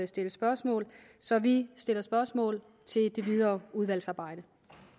stille spørgsmål så vi stiller spørgsmål i det videre udvalgsarbejde